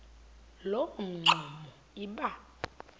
loo mingxuma iba